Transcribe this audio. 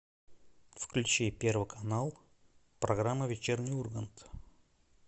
включи первый канал программа вечерний ургант